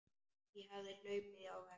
Ég hafði hlaupið á vegg.